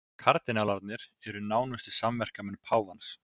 Kardinálarnir eru nánustu samverkamenn páfans